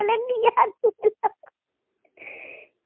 শ